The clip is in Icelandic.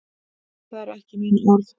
Það eru ekki mín orð.